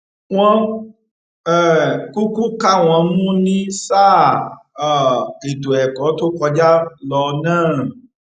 wọn um kúkú ká wọn mú ní sáà um ètò ẹkọ tó kọjá lọ náà